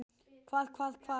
Hvað. hvað. hvar.